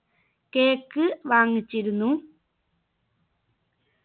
cake വാങ്ങിച്ചിരുന്നു